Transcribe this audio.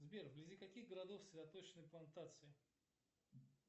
сбер вблизи каких городов цветочные плантации